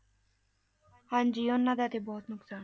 ਹਾਂਜੀ ਉਹਨਾਂ ਦਾ ਤੇ ਬਹੁਤ ਨੁਕਸਾਨ,